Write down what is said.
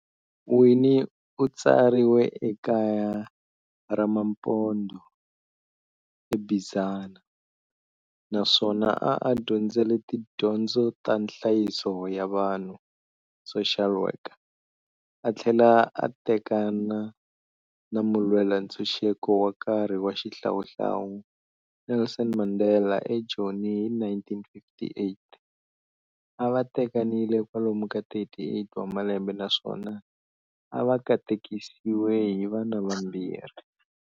Winnie utswariwe ekaya ramaMpondo eBizana, naswona a a dyondzele tidyondzo ta nhlayiso ya vanhu, social worker, athlela a tekana na mulwelantshuxeko wa nkarhi wa xihlawuhlawu Nelson Mandela eJoni hi 1958, ava tekanile kwalomu ka 38 wa malembe naswona avakatekisiwe hi vana vambirhi.